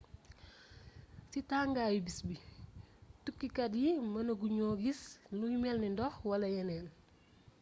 ci tangaayu béss bi tukkukat yi mënaguñu giss luy mélni ndox wala yénéén